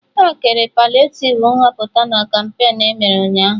Ha kere paliativ Nhọpụta na kampain emere Ụnyaahụ